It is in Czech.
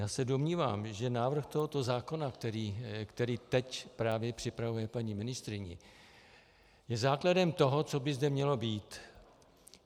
Já se domnívám, že návrh tohoto zákona, který teď právě připravuje paní ministryně, je základem toho, co by zde mělo být.